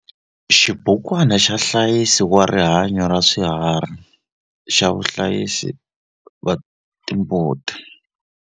Xibukwana xa nhlayisi wa rihanyo ra swiharhi xa vahlayisi va timbuti.